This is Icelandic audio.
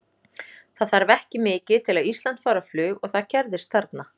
Það þarf ekki mikið til að Ísland fari á flug og það gerðist þarna.